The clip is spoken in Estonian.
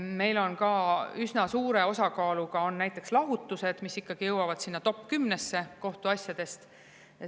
Meil on üsna suure osakaaluga näiteks lahutused, mis jõuavad topp kümnesse kohtuasjadest.